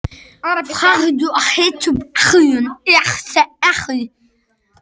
Farðu, hertu upp hugann, sagði Ari.